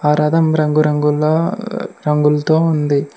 ఆ రథం రంగు రంగుల రంగులతో ఉంది.